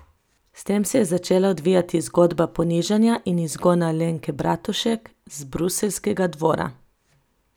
S tem se je začela odvijati zgodba ponižanja in izgona Alenke Bratušek z bruseljskega dvora.